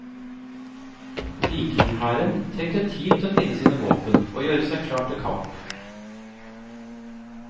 Vikinghæren trengte tid til å finne sine våpen og gjøre seg klar til kamp.